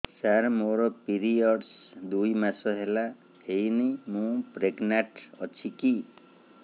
ସାର ମୋର ପିରୀଅଡ଼ସ ଦୁଇ ମାସ ହେଲା ହେଇନି ମୁ ପ୍ରେଗନାଂଟ ଅଛି କି